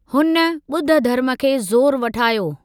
हुन ॿुध धर्म खे ज़ोरु वठायो।